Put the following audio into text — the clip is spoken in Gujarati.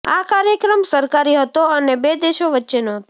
આ કાર્યક્રમ સરકારી હતો અને બે દેશો વચ્ચેનો હતો